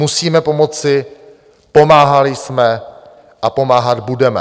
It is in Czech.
Musíme pomoci, pomáhali jsme a pomáhat budeme.